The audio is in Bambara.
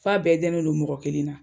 F'a bɛɛ danendon mɔgɔ kelen na